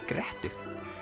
grettu